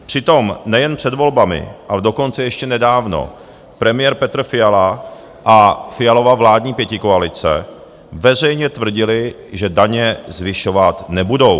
Přitom nejen před volbami, ale dokonce ještě nedávno premiér Petr Fiala a Fialova vládní pětikoalice veřejně tvrdili, že daně zvyšovat nebudou.